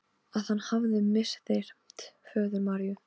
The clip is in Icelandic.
Tóti var feginn að vinur hans hafði tekið sönsum.